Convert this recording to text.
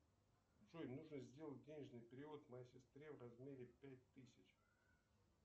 джой нужно сделать денежный перевод моей сестре в размере пять тысяч